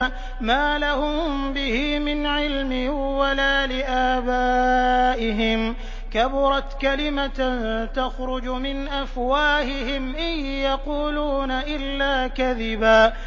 مَّا لَهُم بِهِ مِنْ عِلْمٍ وَلَا لِآبَائِهِمْ ۚ كَبُرَتْ كَلِمَةً تَخْرُجُ مِنْ أَفْوَاهِهِمْ ۚ إِن يَقُولُونَ إِلَّا كَذِبًا